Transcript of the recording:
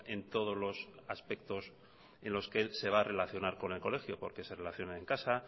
en todos los aspectos en los que él se va a relacionar con el colegio porque se relaciona en casa